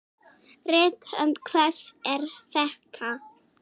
Rithönd hvers er þetta?